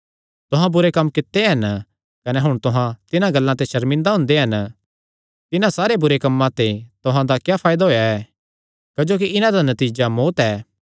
तुहां बुरे कम्म कित्ते हन कने हुण तुहां तिन्हां गल्लां ते सर्मिंदा हुंदे हन तिन्हां सारे बुरे कम्मां ते तुहां दा क्या फायदा होएया ऐ क्जोकि इन्हां दा नतीजा तां मौत्त ऐ